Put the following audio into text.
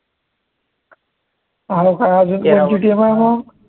अजून कोणची team आहे म